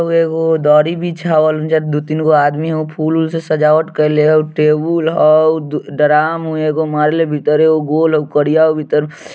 ऊ एगो दरी बिछावल जेय दू तीन गो आदमी हाउ फूल से सजावट केले होउ टेबुल हाउ दू डराम हो एगो भीतर एगो गोल हो करिया हो भीतर।